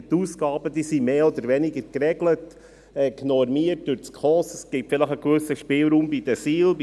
Die Ausgaben sind mehr oder weniger geregelt und normiert durch die Schweizerische Konferenz für Sozialhilfe (SKOS).